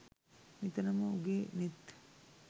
නිතරම උගේ නෙත්